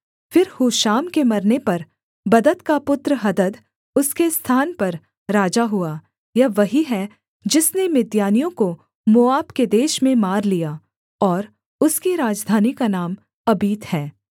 फिर हूशाम के मरने पर बदद का पुत्र हदद उसके स्थान पर राजा हुआ यह वही है जिसने मिद्यानियों को मोआब के देश में मार लिया और उसकी राजधानी का नाम अबीत है